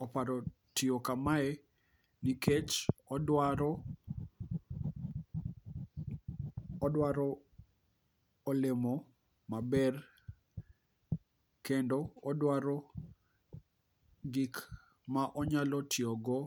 oparo tiyo kamae nikech odwaro olemo maber kendo odwaro gik ma onyalo tiyogo